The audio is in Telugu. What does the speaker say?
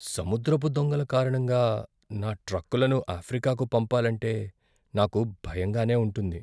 సముద్రపు దొంగల కారణంగా నా ట్రక్కులను ఆఫ్రికాకు పంపాలంటే నాకు భయంగానే ఉంటుంది.